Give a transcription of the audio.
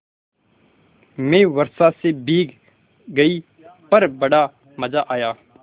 मैं वर्षा से भीग गई पर बड़ा मज़ा आया